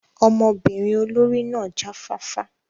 Ọmọbinrin olori náa ja fafa